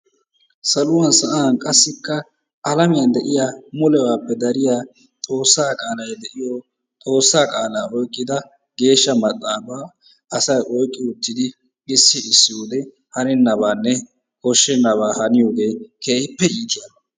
saluwan sa'aan qassikka alamiyan de'iyaa mulebappe dariyaa Xoossaa qaalay de'iyo Xoossaa qaalaa oyqqida Geeshsha Maxaafa asay oyqqi uttidi issi issi wode hanennabanne koshshennaba haaniyogee keehippe iittiyaba.